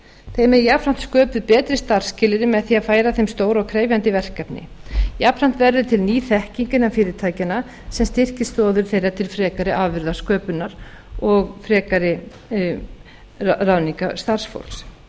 þeim eru jafnframt sköpuð betri starfsskilyrði með því að færa þeim stór og krefjandi verkefni jafnframt verður til ný þekking innan fyrirtækjanna sem styrkir stoðir þeirra til frekari afurðasköpunar og frekari ráðningar starfsfólks